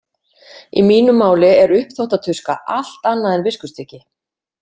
Í mínu máli er uppþvottatuska allt annað en viskustykki.